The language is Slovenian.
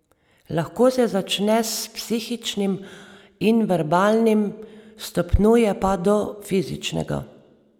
Lahko se začne s psihičnim in verbalnim, stopnjuje pa do fizičnega.